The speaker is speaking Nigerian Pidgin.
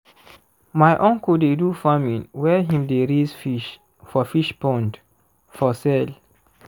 my uncle dey do farming where him dey raise fish for fish pond for sale